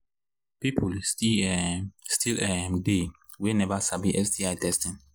people still um still um they we never sabi sti testing